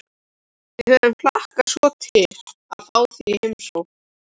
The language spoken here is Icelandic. Við höfum hlakkað svo til að fá þig í heimsókn